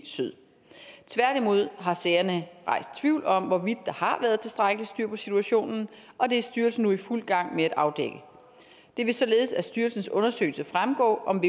syd tværtimod har sagerne rejst tvivl om hvorvidt der har været tilstrækkeligt styr på situationen og det er styrelsen nu i fuld gang med at afdække det vil således af styrelsens undersøgelse fremgå om